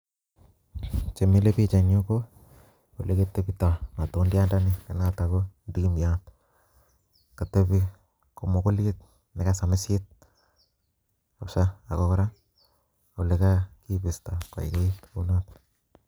chemile biik enyu ko elekoteptoo matundiandani, noton ko kirindiion, kotebii komugulit nekasamisiit kabisa ak kora ko olekabistaa kounon